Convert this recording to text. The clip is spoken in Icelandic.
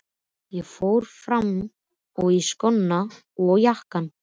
Ég fór fram og í skóna og jakkann.